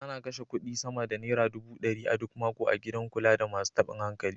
Ana kashe kuɗi sama da naira dubu ɗari a duk mako a gidan kula da masu taɓin hankali.